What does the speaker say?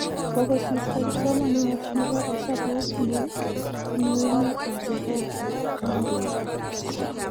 Kokosirto kipsomaniat nebo hesabuk ne bunu emet ab iran eng' Ameriga